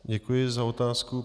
Děkuji za otázku.